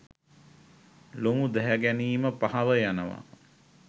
ලොමු දැහැගැනීම පහව යනවා.